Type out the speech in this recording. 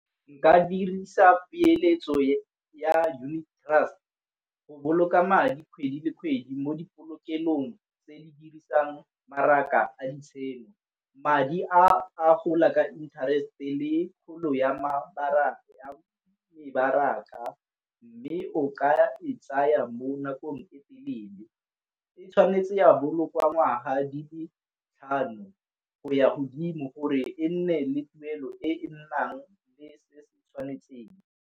Nka dirisa peeletso ya unit trust go boloka madi kgwedi le kgwedi mo di polokelong tse di dirisang mmaraka a . Madi a gola ka interest-e le kgolo ya mebaraka, mme o ka e tsaya mo nakong e telele. E tshwanetse ya bolokwa ngwaga di le tlhano go ya godimo gore e nne le tuelo e nnang le se se tshwanetseng.